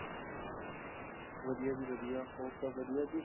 ਵਧੀਆਂ ਜੀ ਵਧੀਆਂ ਹੋਰ ਸਬ ਵਧੀਆਂ ਜੀ,